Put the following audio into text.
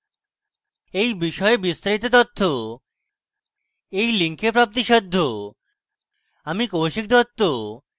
এই বিষয়ে বিস্তারিত তথ্য এই link প্রাপ্তিসাধ্য